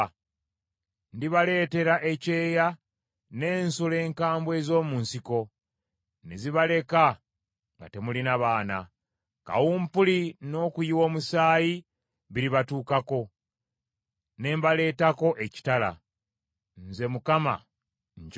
Ndibaleetera ekyeya n’ensolo enkambwe ez’omu nsiko, ne zibaleka nga temulina baana. Kawumpuli n’okuyiwa omusaayi biribatuukako, ne mbaleetako ekitala. Nze Mukama nkyogedde.”